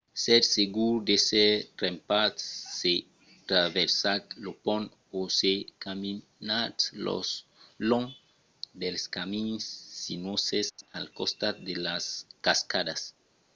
sètz segurs d’èsser trempats se traversatz lo pont o se caminatz long dels camins sinuoses al costat de las cascadas